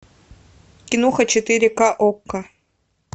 киноха четыре ка окко